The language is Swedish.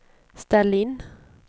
ställ in